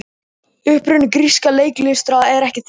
Uppruni grískar leiklistar er ekki þekktur.